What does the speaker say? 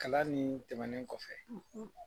Kalan nin tɛmɛnen kɔfɛ